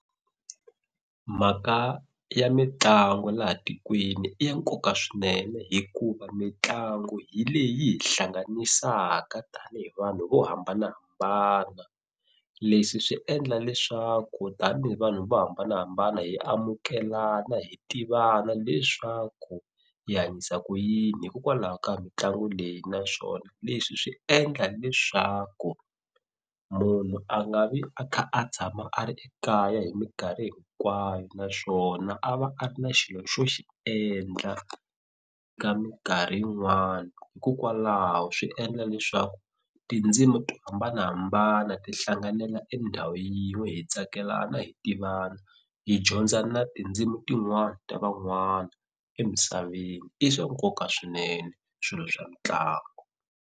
Mhaka ya mitlangu laha tikweni i ya nkoka swinene hikuva mitlangu hi leyi yi hi hlanganisaka tanihi vanhu vo hambanahambana leswi swi endla leswaku tanihi vanhu vo hambanahambana hi amukelana hi tivana leswaku hi hanyisa ku yini hikokwalaho ka mitlangu leyi naswona leswi swi endla leswaku munhu a nga vi a kha a tshama a ri ekaya hi minkarhi hinkwayo naswona a va a ri na xilo xo xi endla ka minkarhi yin'wani hikokwalaho swi endla leswaku tindzimi to hambanahambana ti hlanganela endhawu yin'we hi tsakelana hi tivana hi dyondza na tindzimi tin'wana ta van'wana emisaveni i swa nkoka swinene swilo swa mitlangu.